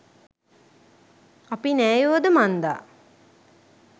අපි නෑයොද මන්දා .